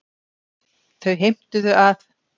Þau heimtuðu að